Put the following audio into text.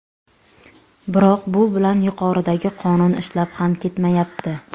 Biroq bu bilan yuqoridagi qonun ishlab ham ketmayapti.